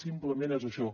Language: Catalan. simplement és això